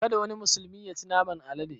Kada wani musulmi yaci naman alade!